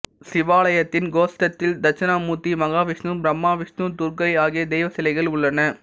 சிவாலயத்தின் கோஷ்டத்தில் தட்சிணாமூர்த்தி மகாவிஷ்ணு பிரம்மா விஷ்ணு துர்கை ஆகிய தெய்வ சிலைகள் உள்ளன